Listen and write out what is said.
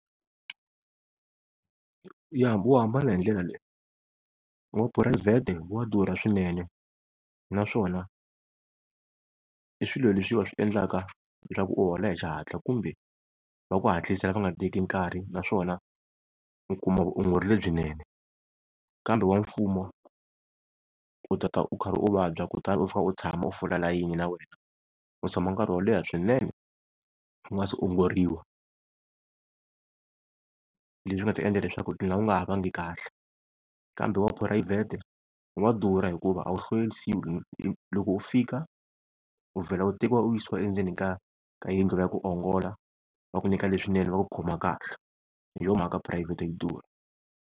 Ya wu hambana hindlela leyi, wa phurayivhete wa durha swinene naswona i swilo leswi va swi endlaka leswaku u hola hi xihatla, kumbe va ku hatlisela lava nga teki nkarhi naswona u kuma vutshunguri lebyinene. Kambe wa mfumo u ta ta u kha u vabya kutani u fika u tshama u fola layini na wena u tshama nkarhi wo leha swinene u nga se ongoriwa, leswi nga ta endla leswaku u dlina u nga ha vangi kahle. Kambe wa phurayivhete wa durha hikuva a wu hlwelisiwi loko u fika u vhela u tekiwa u yisiwa endzeni ka ka yindlu ya ku ongola va ku nyika leswinene va ku khoma kahle hi yo mhaka phurayivhete yi durha.